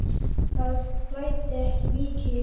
Það blæddi ekki mikið.